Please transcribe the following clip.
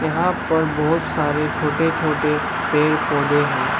यहां पर बहुत सारे छोटे छोटे पेड़ पौधे हैं।